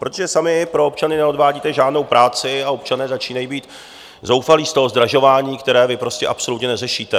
Protože sami pro občany neodvádíte žádnou práci a občané začínají být zoufalí z toho zdražování, které vy prostě absolutně neřešíte.